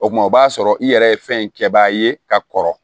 O kuma o b'a sɔrɔ i yɛrɛ ye fɛn in kɛbaga ye ka kɔrɔ